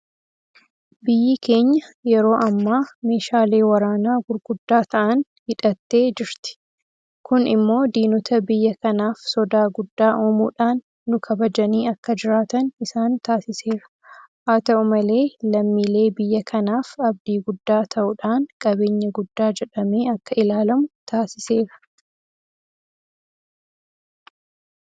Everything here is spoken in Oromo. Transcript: Biyyi keenya Yeroo ammaa meeshaalee waraanaa gurguddaa ta'an hidhattee jirti. Kun immoo diinota biyya kanaaf sodaa guddaa uumuudhaan nukabajanii akka jiraatan isaan taasiseera. Haata'u malee lammiilee biyya kanaaf abdii guddaa ta'uudhaan qabeenya guddaa jedhamee akka ilaalamu taasiseera.